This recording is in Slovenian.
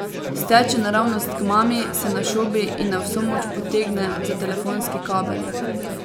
Steče naravnost k mami, se našobi in na vso moč potegne za telefonski kabel.